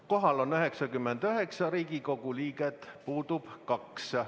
Kohal on 99 Riigikogu liiget, puudub 2.